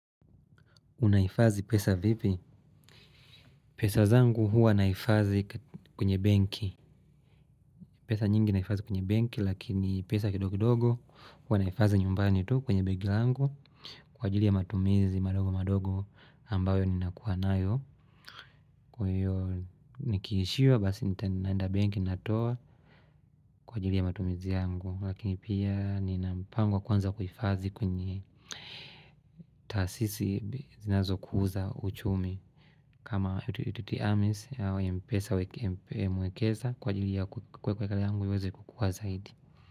Unahifadhi pesa vipi? Pesa zangu huwa nahifadhi kwenye benki. Pesa nyingi nahifadhi kwenye benki lakini pesa kidogo dogo huwa nahifadhi nyumbani tu kwenye benki langu kwa ajili ya matumizi madogo madogo ambayo ninakuwa nayo. Kwa hio nikiishiwa basi naenda benki natoa kwa ajili ya matumizi yangu. Lakini pia nina mpango wa kuanza kuhifadhi kwenye taasisi zinazokuza uchumi. Kama yutiti Ames ya mpesa wa mmi huekeza kwa ajili ya kwekelea yangu iweze kukuwa zaidi.